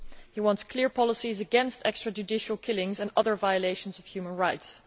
He wants clear policies against extra judicial killings and other violations of human rights.